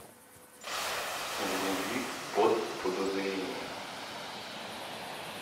вруби под подозрением